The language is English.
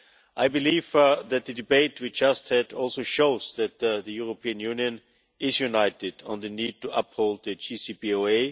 I believe that the debate we have just had also shows that the European Union is united on the need to uphold the JCPOA.